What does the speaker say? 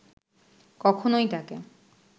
কখনোই তাঁকে